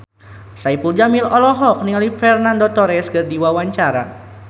Saipul Jamil olohok ningali Fernando Torres keur diwawancara